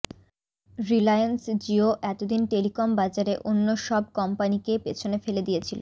রিলায়েন্স জিও এতদিন টেলিকম বাজারে অন্য সব কোম্পানি কে পেছনে ফেলে দিয়েছিল